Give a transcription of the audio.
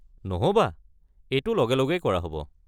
নহ'বা, এইটো লগে লগেই কৰা হ'ব।